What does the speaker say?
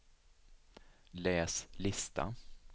läs lista